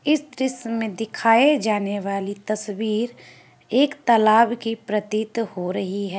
इस दृश्य में दिखाए जाने वाली तस्वीर एक तलाब की प्रतीत हो रही है।